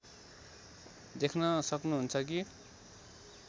देख्न सक्नुहुन्छ कि